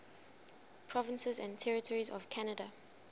provinces and territories of canada